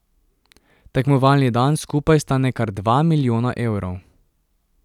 Tekmovalni dan skupaj stane kar dva milijona evrov.